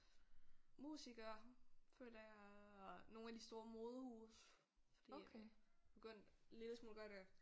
Musikere føler jeg og nogle af de store modehuse fordi begyndt lille smule godt at